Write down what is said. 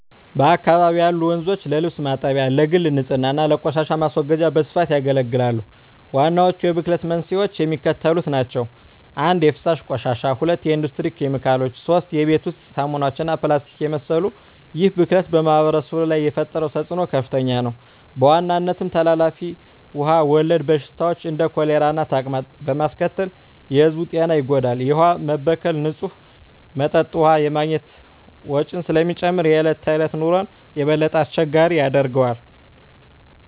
በአካባቢው ያሉ ወንዞች ለልብስ ማጠቢያ፣ ለግል ንፅህና እና ለቆሻሻ ማስወገጃ በስፋት ያገለግላሉ። ዋናዎቹ የብክለት መንስኤዎች የሚከተሉት ናቸው - 1) የፍሳሽ ቆሻሻ 2) የኢንዱስትሪ ኬሚካሎች 3) የቤት ውስጥ ሳሙናዎች እና ፕላስቲክን የመሰሉ ይህ ብክለት በማኅበረሰቡ ላይ የፈጠረው ተፅዕኖ ከፍተኛ ነው፤ በዋናነትም ተላላፊ ውሃ ወለድ በሽታዎችን (እንደ ኮሌራና ተቅማጥ) በማስከተል የሕዝቡን ጤና ይጎዳል። የውሃ መበከል ንፁህ መጠጥ ውሃ የማግኘት ወጪን ስለሚጨምር የዕለት ተዕለት ኑሮን የበለጠ አስቸጋሪ ያደርገዋል።